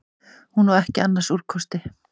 Hún á ekki annars úrkosti.